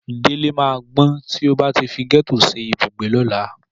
Délé máa gbọ́n tí ó bá ti fi gẹ́tò ṣe ibùgbé lọ́la.